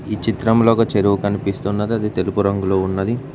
ఈ చిత్రంలో ఒక చెరువు కనిపిస్తున్నది అది తెలుపు రంగులో ఉన్నది.